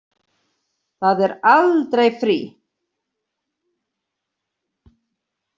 Það er aldrei frí.